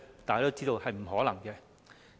大家都知道是不可能的。